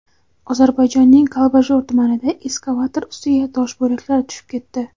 Ozarbayjonning Kalbajor tumanida ekskavator ustiga tosh bo‘laklari tushib ketdi.